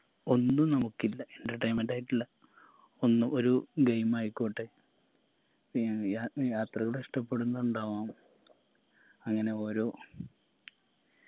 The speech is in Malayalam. ഒന്നു നമുക്കില്ല entertainment ആയിട്ടുള്ള ഒന്നും ഒരു game ആയിക്കോട്ടെ ഏർ യാ യാത്രയോട് ഇഷ്ട്ടപ്പെടുന്നുണ്ടാവും അങ്ങനെ ഓരോ